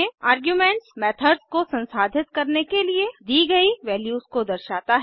arguments methods को संसाधित करने के लिए दी गयी वैल्यूज को दर्शाता है